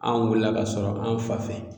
An wulila k'a sɔrɔ an fa fɛ